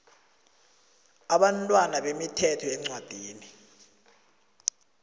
abantwana bemithetho yeencwadini